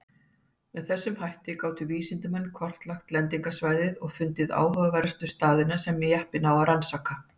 Með þessum hætti gátu vísindamenn kortlagt lendingarsvæðið og fundið áhugaverðustu staðina sem jeppinn á rannsaka.